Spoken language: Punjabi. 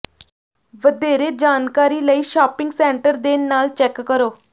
ਵਧੇਰੇ ਜਾਣਕਾਰੀ ਲਈ ਸ਼ਾਪਿੰਗ ਸੈਂਟਰ ਦੇ ਨਾਲ ਚੈੱਕ ਕਰੋ